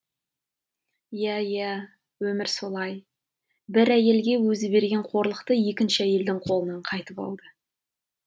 иә иә өмір солай бір әйелге өзі берген қорлықты екінші әйелдің қолынан қайтып алды